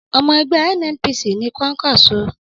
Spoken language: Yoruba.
Ọmọ ẹgbẹ́ NNPC ni Kwankwaso.